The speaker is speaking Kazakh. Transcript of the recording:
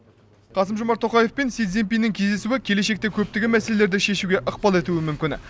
қасым жомарт тоқаев пен си цзинь пиннің кездесуі келешекте көптеген мәселені шешуге ықпал етуі мүмкін